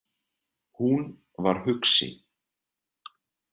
Hún var hugsi.